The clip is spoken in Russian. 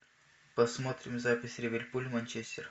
посмотрим запись ливерпуль манчестер